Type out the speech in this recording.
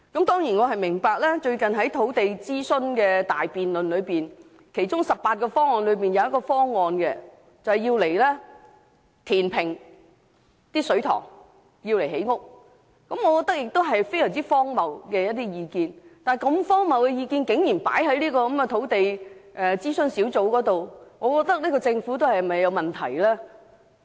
近日進行的土地供應諮詢大辯論所提出的18個方案之中，包括了一項填平水塘作建屋之用的建議，我認為這項建議相當荒謬，但如此荒謬的意見，竟可提交土地供應專責小組進行討論，這個政府是否也有問題呢？